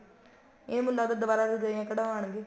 ਇਹ ਮੈਨੂੰ ਲੱਗਦਾ ਦੁਆਰਾ ਰਜਾਈਆਂ ਕਢਵਾਉਣ ਗੇ